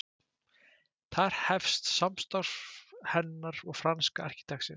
Þar hefst samstarf hennar og franska arkitektsins